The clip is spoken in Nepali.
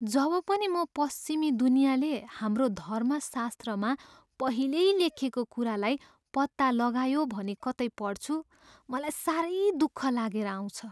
जब पनि म पश्चिमी दुनियाँले हाम्रो धर्मशास्त्रमा पहिल्यै लेखिएको कुरालाई "पत्ता लगायो" भनी कतै पढ्छु, मलाई साह्रै दुःख लागेर आउँछ।